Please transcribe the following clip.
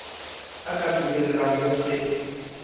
o ka kubellang ho se